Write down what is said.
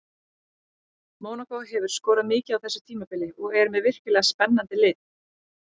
Mónakó hefur skorað mikið á þessu tímabili og er með virkilega spennandi lið.